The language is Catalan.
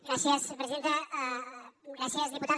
gràcies presidenta gràcies diputada